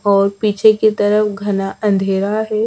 और पीछे की तरफ घना अंधेरा है।